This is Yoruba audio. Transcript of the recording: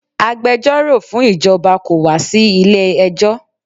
Agbẹjọ́rọ̀ fún ìjọba kò wá sí ilé-ẹjọ́